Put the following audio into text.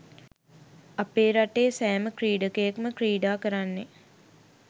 අපේ රටේ සෑම ක්‍රීඩකයෙක්ම ක්‍රීඩා කරන්නෙ